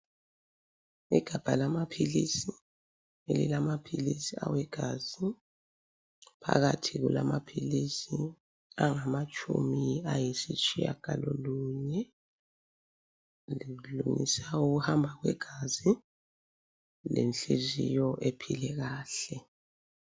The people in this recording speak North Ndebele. Igabha lamaphilisi elilamaphilisi awegazi phakathi kulamaphilisi angamatshumi ayisitshiyagalolunye lokulungisa ukuhamba kwegazi lenhliziyo ephile kahle.